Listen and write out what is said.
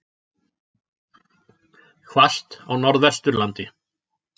Hvasst á Norðvesturlandi